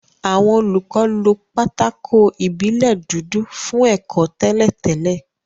Àwọn olùkọ́ lo pátákó ìbílẹ̀ dúdú fún ẹ̀kọ́ tẹ́lẹ̀ tẹ́lẹ̀